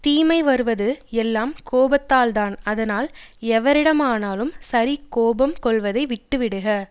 தீமை வருவது எல்லாம் கோபத்தால்தான் அதனால் எவரிடமானாலும் சரி கோபம் கொள்வதை விட்டுவிடுக